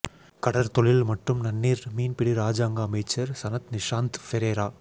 கடற்தொழில் மற்றும் நன்னீர் மீன்பிடி இராஜாங்க அமைச்சர் சனத் நிஷாந்த பெரேரா